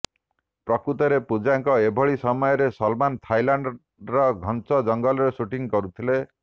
ପ୍ରକୃତରେ ପୂଜାଙ୍କ ଏଭଳି ସମୟରେ ସଲମାନ୍ ଥାଇଲାଣ୍ଡର ଘଞ୍ଚ ଜଙ୍ଗଲରେ ସୁଟିଂ କରୁଥିଲେ